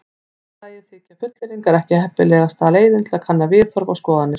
Í öðru lagi þykja fullyrðingar ekki heppilegasta leiðin til að kanna viðhorf og skoðanir.